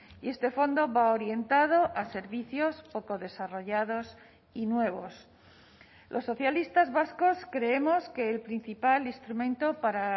y este fondo va orientado a servicios poco desarrollados y nuevos los socialistas vascos creemos que el principal instrumento para